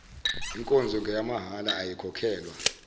nkonzo ngeyamahhala ayikhokhelwa